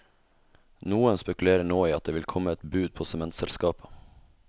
Noen spekulerer nå i at det vil komme et bud på sementselskapet.